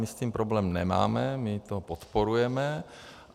My s tím problém nemáme, my to podporujeme.